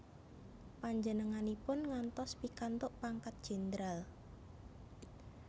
Panjenenganipun ngantos pikantuk pangkat jendral